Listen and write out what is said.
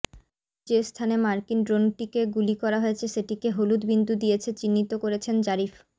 যে স্থানে মার্কিন ড্রোনটিকে গুলি করা হয়েছে সেটিকে হলুদ বিন্দু দিয়েছে চিহ্নিত করেছেন জারিফ